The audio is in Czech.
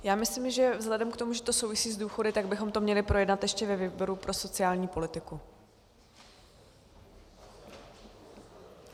Já myslím, že vzhledem k tomu, že to souvisí s důchody, tak bychom to měli projednat ještě ve výboru pro sociální politiku.